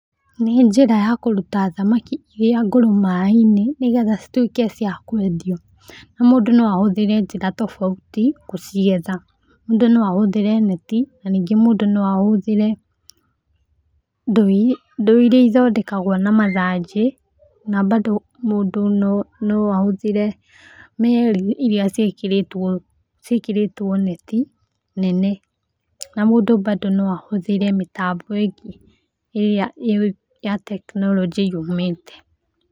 Nĩ njĩra ya kũruta thamaki iria ngũrũ maĩ-inĩ, nĩgetha cituĩke cia kwendio. Na mũndũ no ahũthĩre njĩra tofauti kũcigetha. Mũndũ no ahũthĩre neti, na ningĩ mũndũ no ahũthĩre, ndoo iri ndoo iria ithondekagwo na mathanjĩ, na bado mũndũ no no ahũthĩre meri iria ciĩkĩrĩtwo ciĩkĩrĩtwo neti nene. Na mũndũ bado no ahũthĩre mĩtambo ĩngĩ ĩrĩa ya tekinoronjĩ yumĩte.